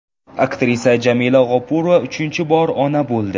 Aktrisa Jamila G‘ofurova uchinchi bor ona bo‘ldi.